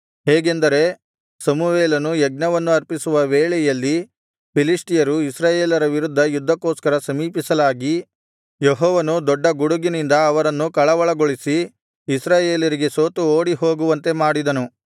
ಹೇಗೆಂದರೆ ಸಮುವೇಲನು ಯಜ್ಞವನ್ನು ಅರ್ಪಿಸುವ ವೇಳೆಯಲ್ಲಿ ಫಿಲಿಷ್ಟಿಯರು ಇಸ್ರಾಯೇಲರ ವಿರುದ್ಧ ಯುದ್ಧಕ್ಕೋಸ್ಕರ ಸಮೀಪಿಸಲಾಗಿ ಯೆಹೋವನು ದೊಡ್ಡ ಗುಡುಗಿನಿಂದ ಅವರನ್ನು ಕಳವಳಗೊಳಿಸಿ ಇಸ್ರಾಯೇಲರಿಗೆ ಸೋತು ಓಡಿ ಹೋಗುವಂತೆ ಮಾಡಿದನು